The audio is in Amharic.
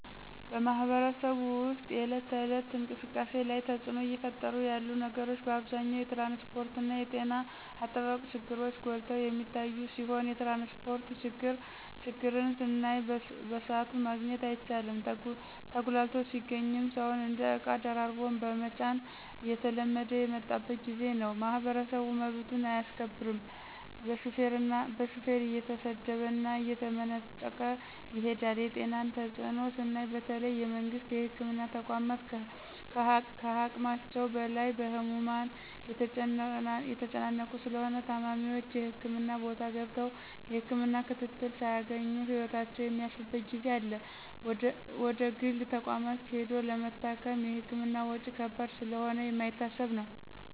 በማህበረሰቡ ወስጥ የእለት ተእለት እንቅስቃሴ ላይ ተጽእኖ እየፈጠሩ ያሉ ነገሮች በአብዛኛው የትራንስጶርትና የጤና አጠባበቅ ችግሮች ጎልተው የሚታዮ ሲሆን የትራንስጶርት ችግርን ስናይ በስአቱ ማግኘት አይቻልም ተጉላልቶ ሲገኝም ሰውን እንደ እቃ ደራርቦ መጫን እየተለመደ የመጣበት ጊዜ ነው። ማህበረሰቡ መብቱን አያስከብርም በሹፌር እየተሰደበና እየተመናጨቀ ይሄዳል የጤናን ተጽእኖ ስናይ በተለይ የመንግስት የህክምና ተቋማት ከሀቅማቸው በላይ በህሙማን የተጨናነቁ ስለሆነ ታማሚዎች የህክምና ቦታ ገብተው የህክምና ክትትል ሳያገኙ ህይወታቸው የሚያልፍበት ጊዜ አለ ወደግል ተቋማት ሂዶ ለመታከም የህክምና ወጭ ከባድ ስለሆነ የማይታሰብ ነው።